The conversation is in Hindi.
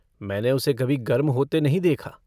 मैंने उसे कभी गर्म होते नहीं देखा।